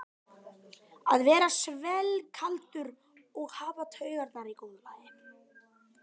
Að vera svellkaldur og hafa taugarnar í góðu lagi!